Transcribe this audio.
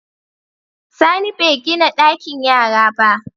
Sani begina ɗakin yara ba